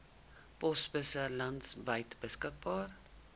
posbusse landwyd beskikbaar